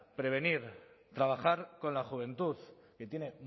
prevenir trabajar con la juventud que tiene